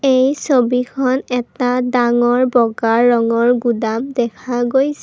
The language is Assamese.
এই ছবিখন এটা ডাঙৰ বগা ৰঙৰ গুডাম দেখা গৈছ--